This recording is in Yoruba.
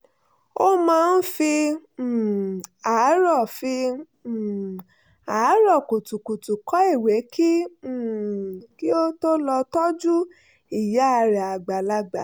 ó máa ń fi um àárọ̀ fi um àárọ̀ kùtùkùtù kọ ìwé kí um ó tó lọ tọ́jú ìyá rẹ̀ àgbàlagbà